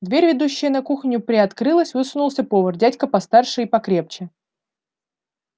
дверь ведущая на кухню приоткрылась высунулся повар дядька постарше и покрепче